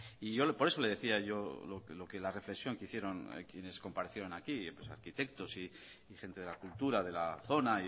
no y por eso le decía yo lo que la reflexión que hicieron quienes comparecieron aquí los arquitectos y gente de la cultura de la zona